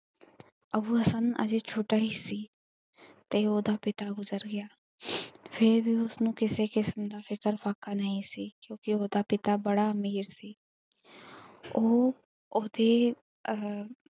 ਅੱਬੂ ਹਸਨ ਅਜੇ ਛੋਟਾ ਹੀ ਸੀ ਤੇ ਓਹਦਾ ਪਿਤਾ ਗੁਜਰ ਗਿਆ ਫਿਰ ਵੀ ਉਸਨੂੰ ਕਿਸੇ ਕਿਸਮ ਦਾ ਫਿਕਰ ਫਾਕਾ ਨਹੀਂ ਸੀ। ਕਿਉਂਕਿ ਉਹਦਾ ਪਿਤਾ ਬੜਾ ਅਮੀਰ ਸੀ ਉਹ ਉਹਦੇ ਅ।